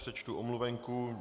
Přečtu omluvenku.